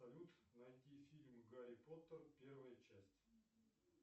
салют найди фильм гарри поттер первая часть